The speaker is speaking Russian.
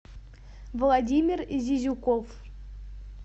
владимир зизюков